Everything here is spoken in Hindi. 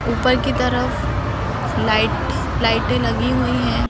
ऊपर की तरफ लाइट लाइटें लगी हुई हैं।